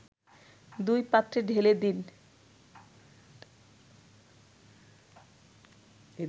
দুই পাত্রে ঢেলে দিন